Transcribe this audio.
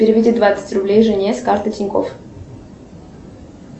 переведи двадцать рублей жене с карты тинькофф